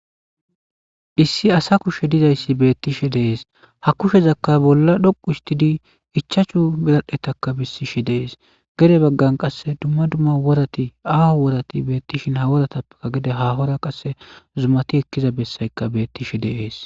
issi asa kushe dizayssi beettishe de'es ha kushezakka bolla dhoqu histidi ichachu biradhetaka bissishe dees gede baggan qasse dumma dumma worati aaho worati beettishin haworatappeka gede hahora qasse zumati ekkiza bessayka beettishe de'ees